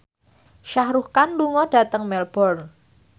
Shah Rukh Khan lunga dhateng Melbourne